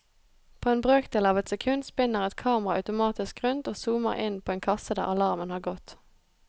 På en brøkdel av et sekund spinner et kamera automatisk rundt og zoomer inn på en kasse der alarmen har gått.